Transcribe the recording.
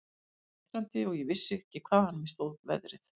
Ég var undrandi og vissi ekki hvaðan á mig stóð veðrið.